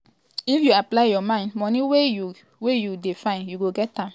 "if you apply your mind money wey you wey you dey find you go get am.